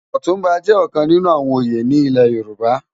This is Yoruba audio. Òtunbá jè òkán ninú àwòn óyé ni ilè Yoruba